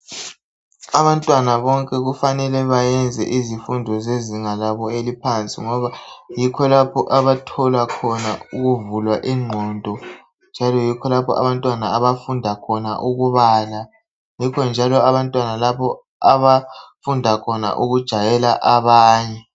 Abantwana abanengi kufuze bayenze iziqa eliphansi ngoba yikho lapho abavulela khona inqondo ngoba yikho lapho abantwana abafunda khona ukubala njalo yikho abajayela khona abanye.